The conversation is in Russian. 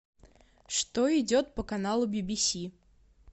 что идет по каналу бибиси